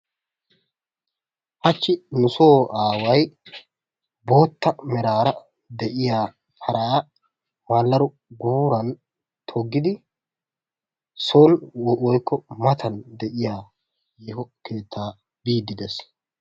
Hachchi nusoo aaway bootta meraara de'iya paraa maallado guuran toggidi son woykko matan de'iya yeeho keettaa biiddi des.